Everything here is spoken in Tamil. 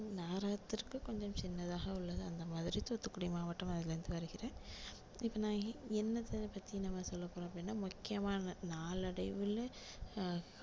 நகரத்திற்கு கொஞ்சம் சின்னதாக உள்ளது அந்த மாதிரி தூத்துக்குடி மாவட்டம் அதுல இருந்து வருகிறேன் இப்போ நான் என்னத்தை பத்தி நம்ம சொல்ல போறோம் அப்படின்னா முக்கியமான நாளடைவுல ஹம்